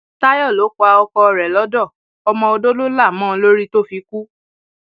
táyọ lọ pa um ọkọ rẹ lọdọ ọmọ odo ló là um mọ lórí tó fi kú